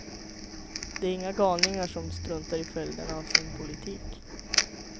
De är inga galningar som struntar i följderna av sin politik.